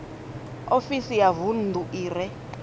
ofisi ya vunḓu i re